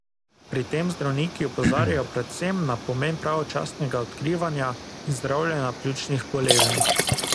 Pri tem zdravniki opozarjajo predvsem na pomen pravočasnega odkrivanja in zdravljenja pljučnih bolezni.